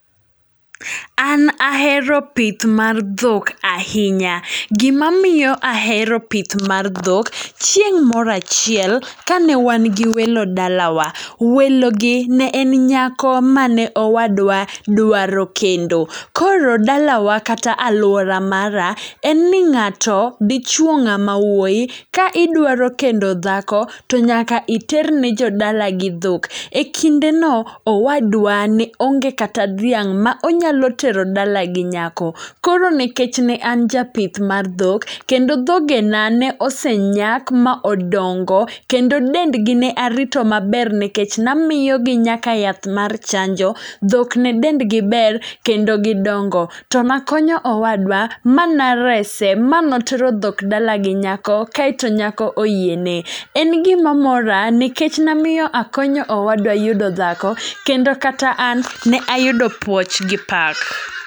An ahero pith mar dhok ahinya. Gima miyo ahero pith mar dho, chieng' morachiel ka ne wan gi welo dalawa, welo gi ne en nyako mane owadwa dwaro kendo. Koro dalawa kata alwora mara, en ni ng'ato dichuo ng'ama wuoyi, ka idwa kendo dhako, to nyaka iter ne jodalagi dhok. E kinde no, owadwa ne onge kata dhiang' ma onyalo tero dalagi nyako. Koro nikech ne an japith mar dhok, kendo dhogena ne osenyak ma odongo. kendo dendgi ne arito maber nekech namiyogi nyaka yath mar chanjo. Dhok ne dendgi ber kendo gidongo. To nakonyo owadwa ma na rese, ma notero dhok dala gi nyako kaeto nyako oyiene. En gima mora nekech namiyo akonyo owadwa yudo dhako, kendo kata an , ne ayudo puoch gi pak.